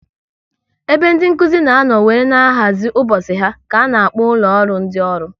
Ebe ndị Nkụzi na anọ wéré na-ahazi ụbọchị ha ka a na-akpọ ụlọ ọrụ ndị ọrụ